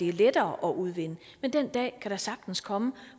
er lettere at udvinde men den dag kan da sagtens komme